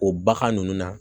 O bagan ninnu na